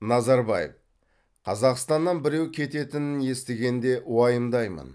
назарбаев қазақстаннан біреу кететінін естігенде уайымдаймын